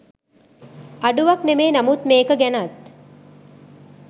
අඩුවක් නෙමේ නමුත් මේක ගැනත්